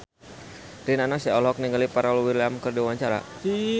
Rina Nose olohok ningali Pharrell Williams keur diwawancara